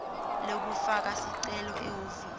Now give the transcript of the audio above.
lekufaka sicelo ehhovisi